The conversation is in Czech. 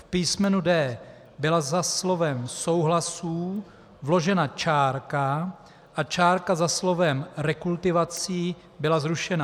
V písmenu d) byla za slovem "souhlasů" vložena čárka a čárka za slovem "rekultivací" byla zrušena.